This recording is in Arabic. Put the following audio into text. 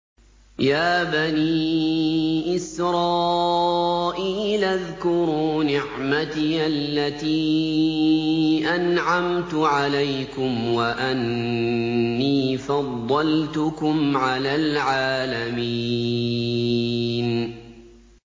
يَا بَنِي إِسْرَائِيلَ اذْكُرُوا نِعْمَتِيَ الَّتِي أَنْعَمْتُ عَلَيْكُمْ وَأَنِّي فَضَّلْتُكُمْ عَلَى الْعَالَمِينَ